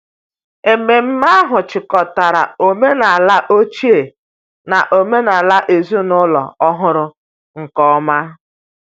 Ememme ahụ jikọtara omenala ochie na omenala ezinụlọ ọhụrụ nke ọma.